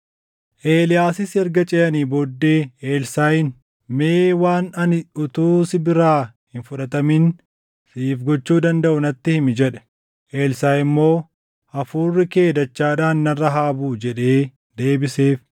Eeliyaasis erga ceʼanii booddee Elsaaʼiin, “Mee waan ani utuu si biraa hin fudhatamin siif gochuu dandaʼu natti himi” jedhe. Elsaaʼi immoo, “Hafuurri kee dachaadhaan narra haa buʼu” jedhee deebiseef.